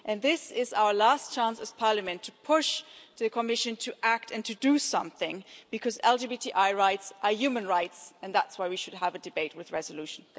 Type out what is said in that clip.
This is our last chance as Parliament to push the Commission to act and to do something, because LGBTI rights are human rights and that's why we should have a debate with resolution.